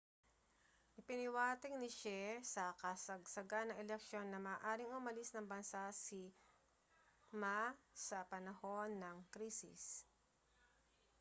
ipinahiwatig ni hsieh sa kasagsagan ng eleksyon na maaaring umalis ng bansa si ma sa panahon ng krisis